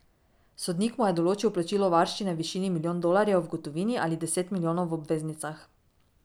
Sodnik mu je določil plačilo varščine v višini milijon dolarjev v gotovini ali deset milijonov v obveznicah.